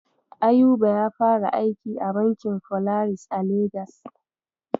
Ayuba ya fara aiki a bankin Folaris a Legas.